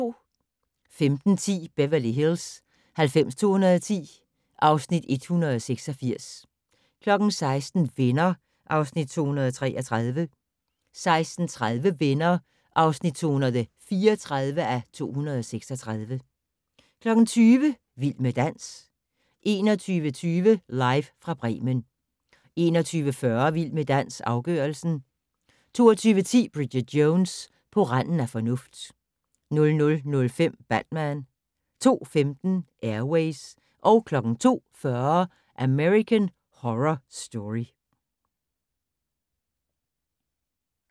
15:10: Beverly Hills 90210 (Afs. 186) 16:00: Venner (Afs. 233) 16:30: Venner (234:236) 20:00: Vild med dans 21:20: Live fra Bremen 21:40: Vild med dans - afgørelsen 22:10: Bridget Jones: På randen af fornuft 00:05: Batman 02:15: Air Ways 02:40: American Horror Story